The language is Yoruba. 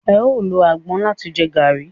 eo ló agbon làti jẹ garri.